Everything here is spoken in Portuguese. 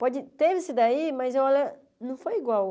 Pode ter esse daí, mas olha, não foi igual.